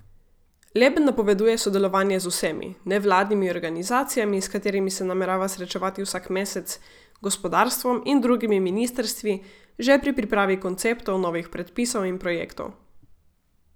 Leben napoveduje sodelovanje z vsemi, nevladnimi organizacijami, s katerimi se namerava srečevati vsak mesec, gospodarstvom in drugimi ministrstvi, že pri pripravi konceptov novih predpisov in projektov.